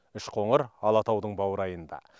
үшқоңыр алатаудың баурайында